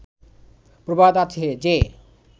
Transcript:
প্রবাদ আছে যে